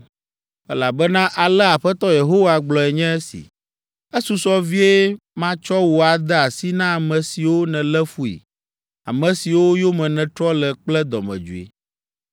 “Elabena alea Aƒetɔ Yehowa gblɔe nye si, ‘Esusɔ vie matsɔ wò ade asi na ame siwo nèlé fui, ame siwo yome nètrɔ le kple dɔmedzoe.